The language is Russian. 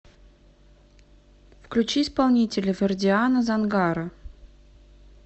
включи исполнителя вердиана зангаро